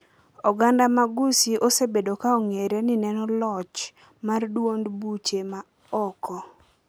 Oganda ma Gusii osebedo ka ong’ere ni neno loch mar duond buche ma oko